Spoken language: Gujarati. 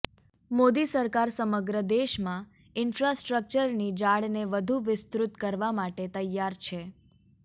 મોદી સરકાર સમગ્ર દેશમાં ઇન્ફ્રાસ્ટકચરની જાળને વધુ વિસ્તૃત કરવા માટે તૈયાર છે